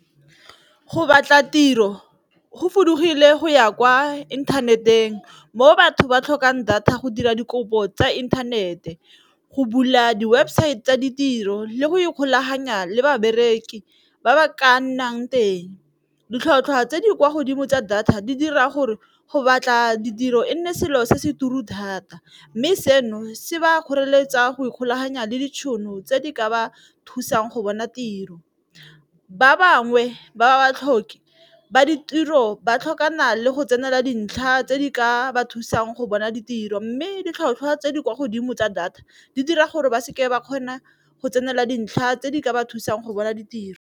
Go batla tiro go fudugile go ya kwa inthaneteng mo batho ba tlhokang data go dira dikopo tsa inthanete, go bula di-website tsa ditiro le go ikgolaganya le babereki ba ba ka nnang teng. Ditlhotlhwa tse di kwa godimo tsa data di dira gore go batla ditiro e nne selo se se turu thata, mme seno se ba kgoreletsa go ikgolaganya le ditšhono tse di ka ba thusang go bona tiro, ba bangwe ba ba tlhoke ba ditiro ba tlhokana le go tsenela dintlha tse di ka ba thusang go bona ditiro mme ditlhotlhwa tse di kwa godimo tsa data di dira gore ba seke ba kgona go tsenela dintlha tse di ka ba thusang go bona ditiro.